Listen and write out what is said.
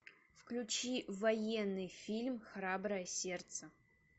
включи военный фильм храброе сердце